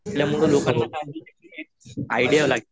आपल्यामुळे लोकांना आयडिया